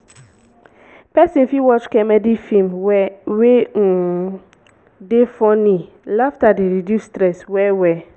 person fit watch comedy film wey um dey funny laughter dey reduce stress well well